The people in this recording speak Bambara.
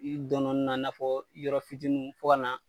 I dɔn dɔɔni nunnu na 'a fɔ yɔrɔ fitinin fɔ ka na